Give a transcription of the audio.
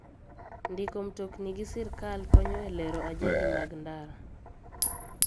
Ndiko mtokni gi sirkar konyo e lero ajali mag ndara.